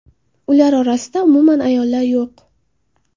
Ular orasida umuman ayollar yo‘q.